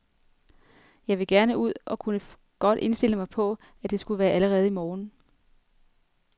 Jeg vil gerne ud og kunne godt indstille mig på, at det skulle være allerede i morgen.